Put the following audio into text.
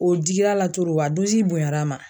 O digila la o de bonyara a ma.